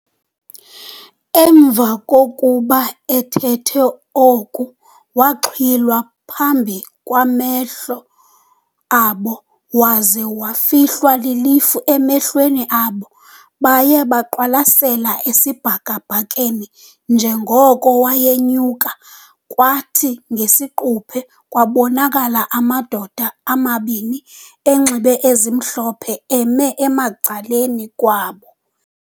Emva kokuba ethethe oku waxhwilwa phambi kwamehlo abo waze wafihlwa lilifu emehlweni abo. Baye beqwalasele esibhakabhakeni njenkoko wayenyuka, kwathi ngesiquphe kwabonakala amadoda amabini enxibe ezimhlophe eme ecaleni kwabo.